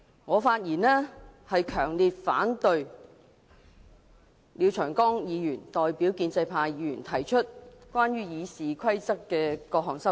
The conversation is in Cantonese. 我發言，為了強烈反對廖長江議員代表建制派議員提出關於《議事規則》的各項修訂。